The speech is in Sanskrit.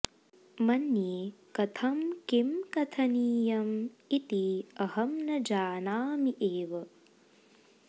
मन्ये कथं किं कथनीयं इति अहं न जानामि एव